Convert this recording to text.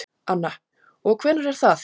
Anna: Og hvenær er það?